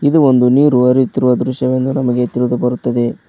ಇದು ಒಂದು ನೀರು ಹರಿಯುತ್ತಿರುವ ದೃಶ್ಯವೆಂದು ನಮಗೆ ತಿಳಿದು ಬರುತ್ತದೆ.